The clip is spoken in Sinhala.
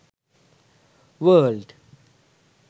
world